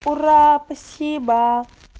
ура спасибо